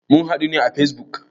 Mun hadu ne à Facebook